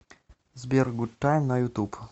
сбер гуд тайм на ютуб